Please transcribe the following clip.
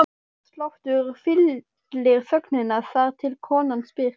Hjartsláttur fyllir þögnina, þar til konan spyr